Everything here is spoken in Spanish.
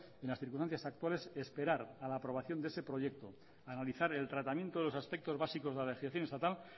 en las circunstancias actuales esperar a la aprobación de ese proyecto analizar el tratamiento de los aspectos básicos de la legislación estatal